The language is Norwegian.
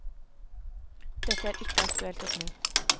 Det er ikke aktuelt å snu.